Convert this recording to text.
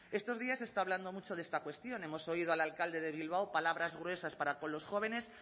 estos días se está hablando mucho de esta cuestión hemos oído al alcalde de bilbao palabras gruesas para con los jóvenes